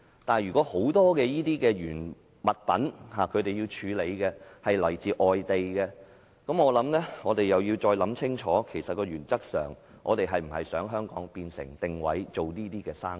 但是，如果業界要處理大量來自外地的廢物，我們便要再想清楚，原則上，我們是否想香港定位做這些生意？